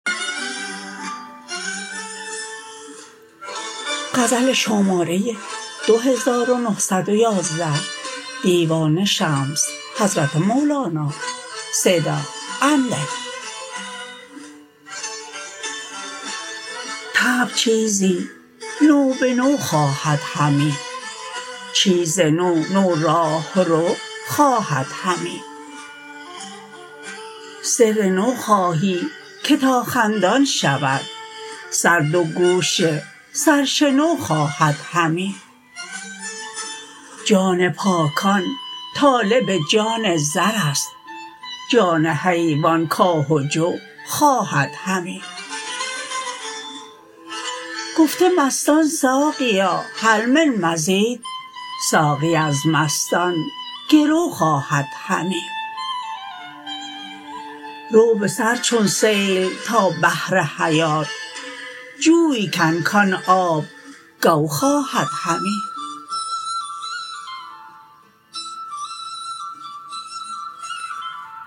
طبع چیزی نو به نو خواهد همی چیز نو نو راهرو خواهد همی سر نو خواهی که تا خندان شود سر دو گوش سرشنو خواهد همی جان پاکان طالب جان زر است جان حیوان کاه و جو خواهد همی گفته مستان ساقیا هل من مزید ساقی از مستان گرو خواهد همی رو به سر چون سیل تا بحر حیات جوی کن کان آب گو خواهد همی